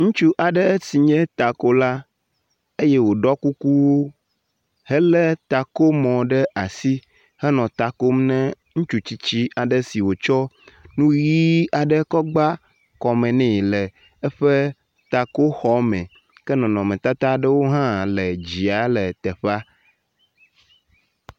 Ŋutsu aɖe si nye takola eye woɖɔ kuku hele takomɔ ɖe asi henɔ ta kom ne ŋutsu tsitsi aɖe si wotsɔ nu ʋi aɖe kɔ gba kɔme nɛ l eƒe takoxɔme ke nɔnɔmetata aɖewo hã le dzia le teƒe.